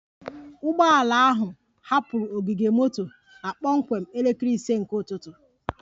Ụgbọ ala ahụ hapụrụ ogige moto na kpọmkwem ise nke ụtụtụ